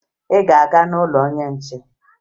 Ị ga-aga n'ụlọ onye nche?